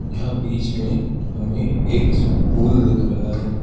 यहां बीच में हमें एक पूल दिख रहा है।